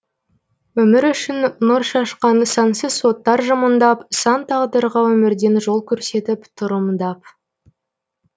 өмір үшін нұр шашқан сансыз оттар жымыңдап сан тағдырға өмірден жол көрсетіп тұр ымдап